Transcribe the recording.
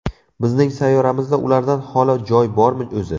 Bizning sayyoramizda ulardan holi joy bormi o‘zi ?